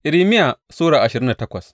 Irmiya Sura ashirin da takwas